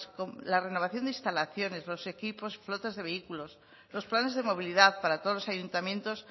la renovación de instalaciones los equipos flotas de vehículos los planes de movilidad para todos los ayuntamientos